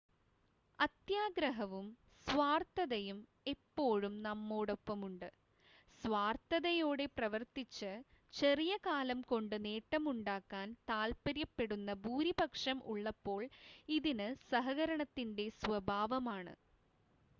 അത്യാഗ്രഹവും സ്വാർത്ഥതയും എപ്പോഴും നമ്മോടൊപ്പമുണ്ട് സ്വാർത്ഥതയോടെ പ്രവർത്തിച്ച് ചെറിയ കാലം കൊണ്ട് നേട്ടമുണ്ടാക്കാൻ താൽപ്പര്യപ്പെടുന്ന ഭൂരിപക്ഷം ഉള്ളപ്പോൾ ഇതിന് സഹകരണത്തിൻ്റെ സ്വഭാവമാണ്